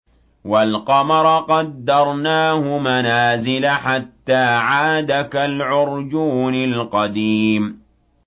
وَالْقَمَرَ قَدَّرْنَاهُ مَنَازِلَ حَتَّىٰ عَادَ كَالْعُرْجُونِ الْقَدِيمِ